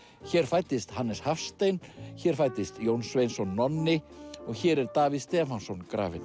hér fæddist Hannes Hafstein hér fæddist Jón Sveinsson Nonni og hér er Davíð Stefánsson grafinn